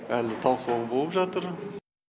әлі талқылау болып жатыр